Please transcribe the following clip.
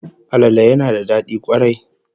Alale yana da dadi kwarai